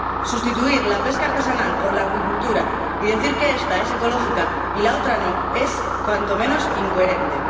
Sustituir la pesca artesanal por la acuicultura, y decir que esta es ecológica y la otra no, es, cuando menos, incoherente.